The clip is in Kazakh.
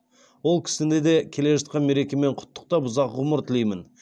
ол кісіні де келе жатқан мерекемен құттықтап ұзақ ғұмыр тілеймін